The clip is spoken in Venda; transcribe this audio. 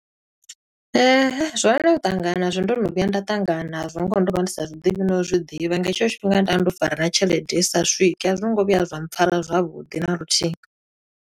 Zwone u ṱangana nazwo, ndo no vhuya nda ṱangana nazwo, ngoho ndo vha ndi sa zwiḓivhi no u zwiḓivha. Nga hetsho tshifhinga nda ndo fara na tshelede i sa swiki. A zwi ngo vhuya zwa mpfara zwavhuḓi na luthihi.